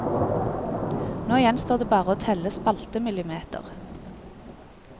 Nå gjenstår det bare å telle spaltemillimeter.